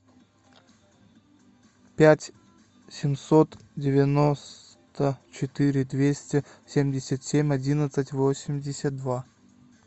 пять семьсот девяносто четыре двести семьдесят семь одиннадцать восемьдесят два